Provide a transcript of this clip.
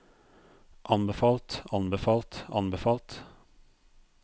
anbefalt anbefalt anbefalt